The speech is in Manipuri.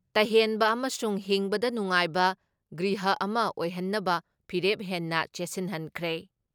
ꯇꯍꯦꯟꯕ ꯑꯃꯁꯨꯡ ꯍꯤꯡꯕꯗ ꯅꯨꯡꯉꯥꯏꯕ ꯒ꯭ꯔꯤꯍ ꯑꯃ ꯑꯣꯏꯍꯟꯅꯕ ꯐꯤꯔꯦꯞ ꯍꯦꯟꯅ ꯆꯦꯠꯁꯤꯟꯍꯟꯈ꯭ꯔꯦ ꯫